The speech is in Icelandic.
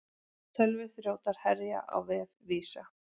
Tölvuþrjótar herja á vef Visa